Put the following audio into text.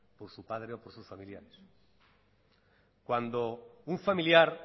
por su padre o por sus familiares cuando un familiar